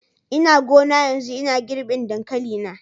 Ina gona yanzu ina girbin dankali na.